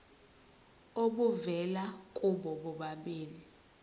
obuvela kubo bobabili